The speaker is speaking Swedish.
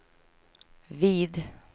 vid